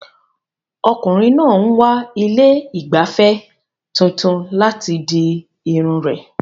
Ọkùnrin náà ń wá ilé ìgbafẹ́ tuntun láti di irun rẹ̀.